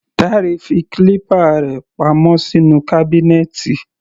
Dare fi clipper rẹ̀ pa mọ́ sínú kábínẹ́tì.